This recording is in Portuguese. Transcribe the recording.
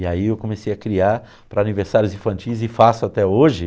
E aí eu comecei a criar para aniversários infantis e faço até hoje.